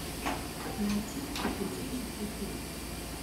найти приключенческий фильм